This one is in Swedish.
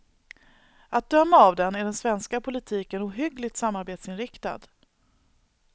Att döma av den är den svenska politiken ohyggligt samarbetsinriktad.